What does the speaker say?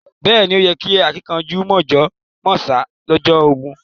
Beeni o yí kẹ́ àkìnkanjú mọ̀jọ̀ mọ̀sá lọ́jọ́ ogún